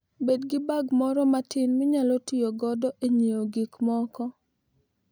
Bed gi bag moro matin minyalo ti godo e ng'iewo gik moko.